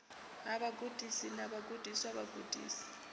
ha vhagudisi na vhagudiswa vhagudisi